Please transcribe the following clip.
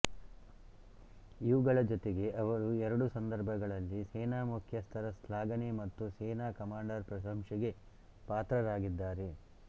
ಇವುಗಳ ಜೊತೆಗೆ ಅವರು ಎರಡು ಸಂದರ್ಭಗಳಲ್ಲಿ ಸೇನಾ ಮುಖ್ಯಸ್ಥರ ಶ್ಲಾಘನೆ ಮತ್ತು ಸೇನಾ ಕಮಾಂಡರ್ ಪ್ರಶಂಸೆಗೆ ಪಾತ್ರರಾಗಿದ್ದಾರೆ